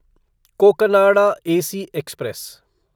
Cocanada AC express